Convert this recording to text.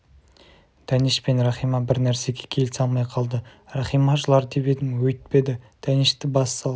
дәнеш пен рахима бір нәрсеге келісе алмай қалды рахима жылар деп едім өйтпеді дәнешті бас салып